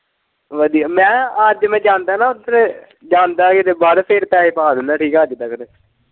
ਵਧੀਆ ਮੈਂ ਕਿਹਾ ਅੱਜ ਮੈਂ ਜਾਂਦਾ ਨਾ ਉੱਧਰ ਜਾਂਦਾ ਕਿਤੇ ਬਾਹਰ ਫੇਰ ਪੈਹੇ ਪਾ ਦਿੰਦਾ ਠੀਕ ਏ ਅੱਜ ਤੱਕ ਦੇ।